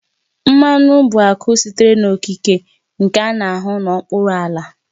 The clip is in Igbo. Mmanụ bụ akụ sitere n'okike nke a na-ahụ n'okpuru ala